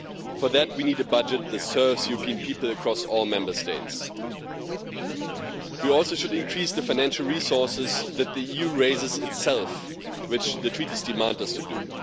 For that we need a budget that serves European people across all Member States. We should also increase the financial resources that the EU raises itself, which the Treaties demand we do.